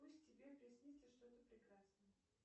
пусть тебе приснится что то прекрасное